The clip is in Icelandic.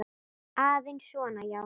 Aðeins svona, já.